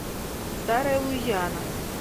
старая луизиана